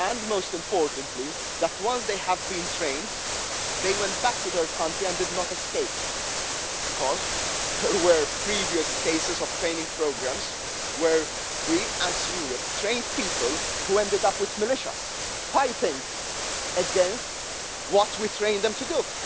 Most importantly, once they had been trained, they went back to their country and did not escape because there were previous cases of training programmes where we, as Europe, trained people who ended up with militias, fighting against what we trained them to